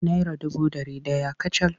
Naira dubu da ɗari ɗaya kacal.